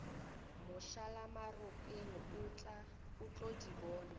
mošalamaropeng o tlo di bona